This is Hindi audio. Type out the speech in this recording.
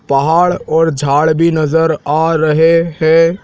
पहाड़ और झाड़ भी नज़र आ रहे हैं।